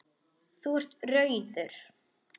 Þú ert rauður.